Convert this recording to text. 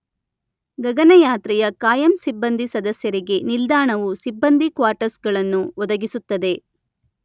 ಗಗನಯಾತ್ರೆಯ ಕಾಯಂ ಸಿಬ್ಬಂದಿ ಸದಸ್ಯರಿಗೆ ನಿಲ್ದಾಣವು ಸಿಬ್ಬಂದಿ ಕ್ವಾಟರ್ಸ್‌ಗಳನ್ನು ಒದಗಿಸುತ್ತದೆ.